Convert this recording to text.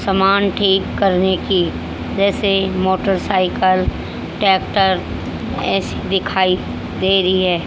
समान ठीक करने की जैसे मोटरसाइकिल ट्रेक्टर ऐसी दिखाई दे रही है।